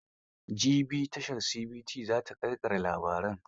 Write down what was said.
Jibi tashar CTV za ta ƙarƙare labarin.